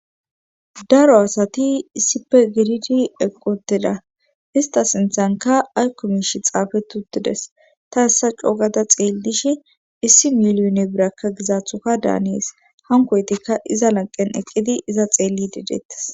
daro asati issipe gididi eqqi utida ista sinthanka aykkomish xaafetutides ta hessa co gada xeellish issi miliyone birakka gizaaththoka daanees hankoytikka iza lanqen eqqidi iza xeelli di deettes